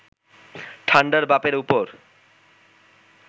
ঠান্ডার বাপের ওপর